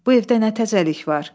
Bu evdə nə təzəlik var?